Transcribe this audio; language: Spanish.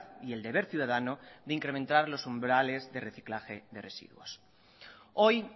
y el deber ciudadano de incrementar los umbrales de reciclaje de residuos hoy